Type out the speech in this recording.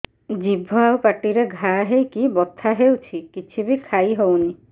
ଜିଭ ଆଉ ପାଟିରେ ଘା ହେଇକି ବଥା ହେଉଛି କିଛି ବି ଖାଇହଉନି